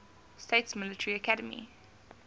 states military academy